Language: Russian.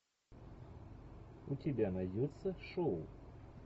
у тебя найдется шоу